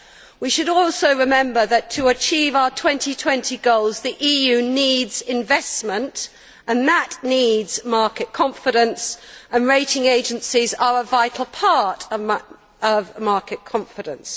We should also remember that, to achieve our 2020 goals, the EU needs investment and that needs market confidence, and rating agencies are a vital part of market confidence.